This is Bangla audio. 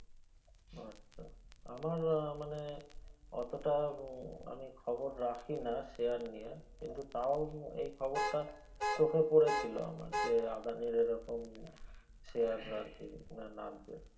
আচ্ছা আমার মানে অতটা আমি খবর রাখি না share নিয়ে কিন্তু তাও এই খবর টা চোখে পরেছিলো আমার যে আদানির এই রকম share আর কি নামছে